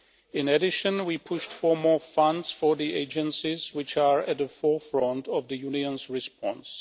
In addition, we pushed for more funds for the agencies which are at the forefront of the Union's response.